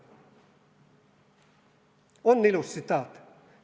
" On ilus tsitaat?